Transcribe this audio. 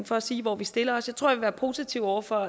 for at sige hvor vi stiller os jeg tror jeg vil være positiv over for